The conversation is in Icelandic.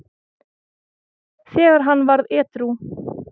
þegar hann varð edrú.